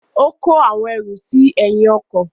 Ó kó àwọn ẹrù sínú ẹ̀yìn ọkọ̀.